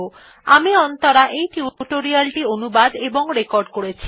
আমি অন্তরা এই টিউটোরিয়াল টি অনুবাদ এবং রেকর্ড করেছি